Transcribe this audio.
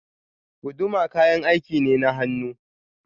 Guduma kayan aiki ne na hannu.